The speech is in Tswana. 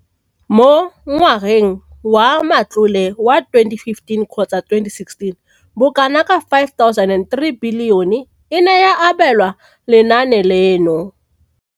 Mo ngwageng wa matlole wa 2015 kgotsa 2016, bokanaka 5 703 bilione e ne ya abelwa lenaane leno.